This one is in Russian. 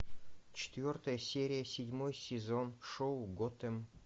четвертая серия седьмой сезон шоу готэм